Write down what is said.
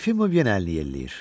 Yefimov yenə əlini yelləyir.